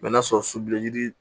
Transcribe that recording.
n'a sɔrɔ suluji